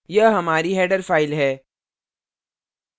यह हमारी header file है